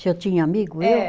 Se eu tinha amigo, eu?